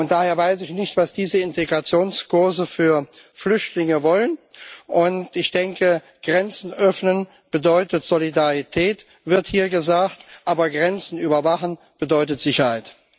Daher weiß ich nicht, was diese Integrationskurse für Flüchtlinge wollen, und ich denke, Grenzen öffnen bedeutet Solidarität, wird hier gesagt, aber Grenzen überwachen bedeutet Sicherheit.